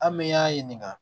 An bɛ y'an ɲininka